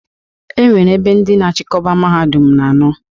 E nwere ebe ndị na-achịkọba Mahadum na anọ.